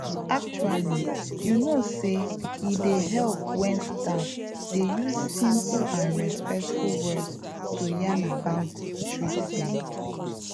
actually you know say e dey help wen staff dey use simple and respectful words to yarn about treatments